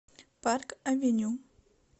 парк авеню